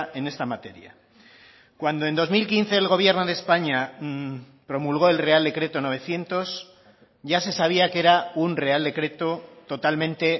en esta materia cuando en dos mil quince el gobierno de españa promulgó el real decreto novecientos ya se sabía que era un real decreto totalmente